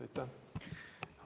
Aitäh!